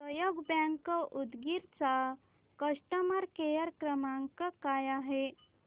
सहयोग बँक उदगीर चा customer care क्रमांक काय आहे